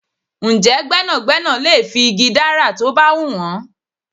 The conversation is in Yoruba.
Ǹjẹ́ gbẹ́nàgbẹ́nà lè fi igi dárà tó bá hun wọn?